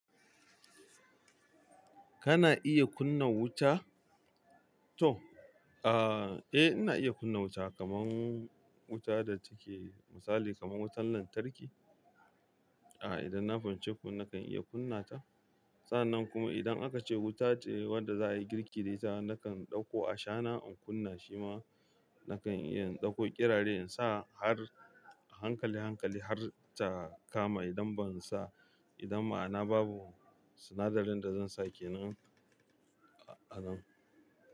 Kana iya kunna wuta? To, aa, eh ina iya kunna wuta, kamar wuta da take misali kamar wutar lantarki. Aa, idan na bamce ku nakan iya kunna ta. Sannan kuma idan aka ce wuta ce wadda za a yi girki da ita, nakan ɗauko ashana in kunna shi ma nakan iya in dauko kirare in sa har hankali hankali har ta kama idan ban sa, idan maana babu sinadarin da zan sake nan,